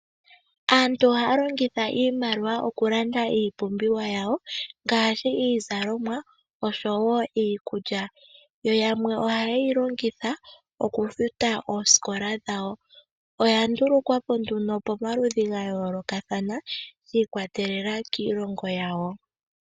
Aantu ohaya longitha iimaliwa okulanda iipumbiwa yawo ngshi iizalomwa osho wo iikulya, yo yamwe oha yeyi longitha oku futa oosikola dhawo, oya ndulukwapo nduno pomaludhi ga yoolokathana shi kwatelela kiilongo yawo.